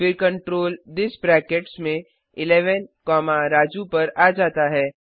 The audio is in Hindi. फिर कंट्रोल थिस ब्रैकेट्स में 11 कॉमा राजू पर आ जाता है